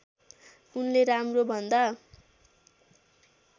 उसले राम्रो भन्दा